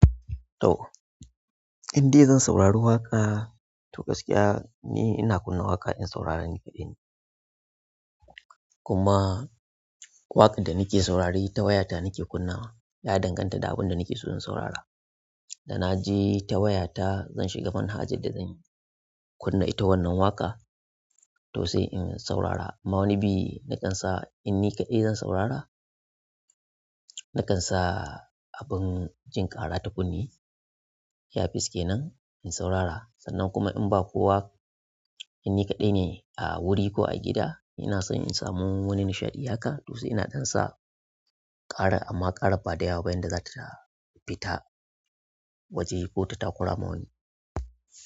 To, in dai zan saurari waƙa to gaskiya ni ina kunna waƙa in sauraren ni kaɗai. Kuma waƙar da ni ke saurare ni ta waya ta nike kunnawa ya danganta da abin da nake so in saurara. Da na je ta wayata zan shiga phone haja da zanyi kunna ita wannan waƙa to sai in saurara. Amma wani bi na kan sa in ni kaɗai zan saurara, na kan sa abin jin ƙara ta kunne iyafis ke nan in saurara. Sannan kuma in ba kowa in ni kaɗai ne a wuri ko a gida ina so in samu wani nishaɗi haka to sai ina ɗan sa ƙara amma ƙara bada yawa ba yanda za ta fita waje ko ta takurama wani.